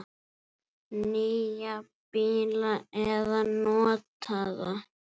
Nýja bíla eða notaða?